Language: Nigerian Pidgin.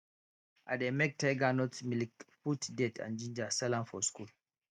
i dey make tiger nut milk put date and ginger sell am for school